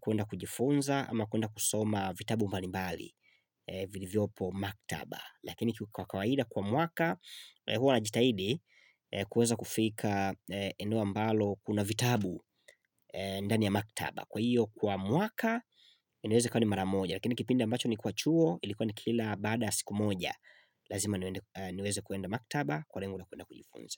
kuenda kujifunza ama kuenda kusoma vitabu mbalimbali vilivyopo maktaba. Lakini kwa kawaida kwa mwaka, huwa najitahidi kuweza kufika eneo ambalo kuna vitabu ndani ya maktaba. Kwa hiyo kwa mwaka inaweza kuwa ni mara moja Lakini kipindi ambacho nilikuwa chuo ilikuwa ni kila baada siku moja Lazima niweze kuenda maktaba kwa rengo la kuenda kujifunza.